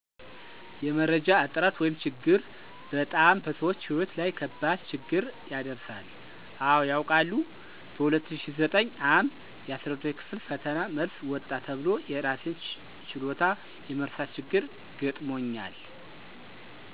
የመረጃ እጥረት ወይም ችግር በጣም በሰዎች ሕይወት ላይ ከባድ ችግር ያደረሳል። አወ ያውቃል። በ2009 ዓ/ም የ12ኛ ክፍል ፈተና መልስ ወጣ ተብሎ የእራሴን ችሎታ የመርሳት ችግር ገጥሞኛል።